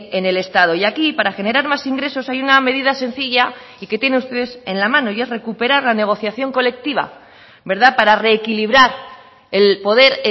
en el estado y aquí para generar más ingresos hay una medida sencilla y que tiene ustedes en la mano y es recuperar la negociación colectiva para reequilibrar el poder